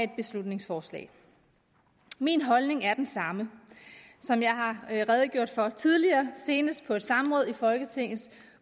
beslutningsforslag min holdning er den samme som jeg har redegjort for tidligere senest på et samråd i folketingets